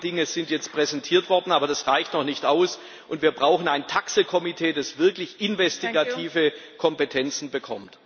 Einige Dinge sind jetzt präsentiert worden, aber das reicht noch nicht aus, und wir brauchen einen TAXE Ausschuss, der wirklich investigative Kompetenzen bekommt.